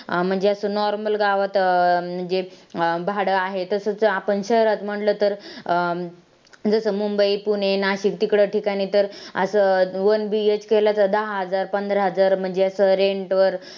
अं म्हणजे असं normal गावात अं म्हणजे अं भाडं आहे तसंच आपण शहरात म्हंटलं तर अं जसं मुंबई, पुणे, नाशिक तिकडं ठिकाणी तर असं oneBHK लाच दहा हजार, पंधरा हजार म्हणजे असं rent वर